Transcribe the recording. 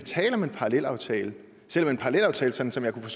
tale om en parallelaftale selv om en parallelaftale sådan som jeg kunne